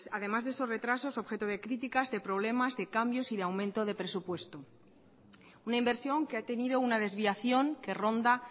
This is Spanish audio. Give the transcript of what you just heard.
además de esos retrasos objeto de críticas de problemas de cambios y de aumento de presupuesto una inversión que ha tenido una desviación que ronda